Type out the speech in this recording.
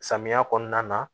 Samiya kɔnɔna na